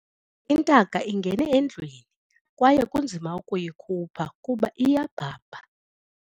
Intaka ingene endlwini kwaye kunzima ukuyikhupha kuba iyabhabha.